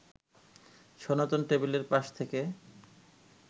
সনাতন টেবিলের পাশ থেকে